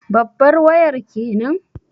Babbar wayar kenan?